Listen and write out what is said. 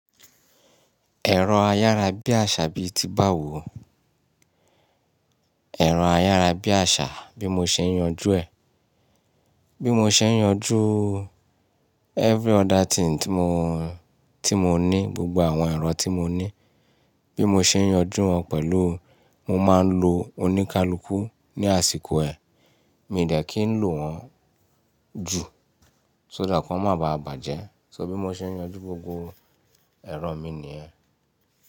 Ẹ̀rọ ayárabíàṣá bí ti báwo. Ẹ̀rọ ayárabíàṣá bí mo ṣe ń yanjú ẹ̀. Bí mo ṣe ń yanjú every other thing tí mo, tí mo ní, gbogbo àwọn ẹ̀rọ tí mo ní. Bí mo ṣe ń yanjú wọn pẹ̀lú, mo máa ń lo oníkálukú ní àsìkò ẹ. Mi ò dẹ̀ kí ń lò wọ́n jù. So that ki won má bàa bàjẹ́. So bí mo ṣe ń yanjú gbogbo ẹ̀rọ mi nìyẹn.